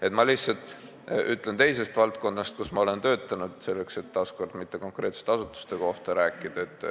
Et mitte konkreetsete asutuste kohta midagi öelda, toon ma näite teisest valdkonnast, kus ma olen töötanud.